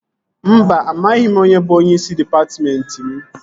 Mba, amaghị m onye bụ onyeisi dịpatmentị m